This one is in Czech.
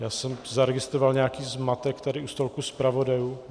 Já jsem zaregistroval nějaký zmatek tady u stolku zpravodajů.